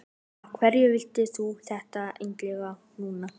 Af hverju vilt þú þetta endilega núna?